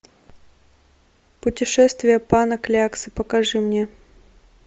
путешествие пана кляксы покажи мне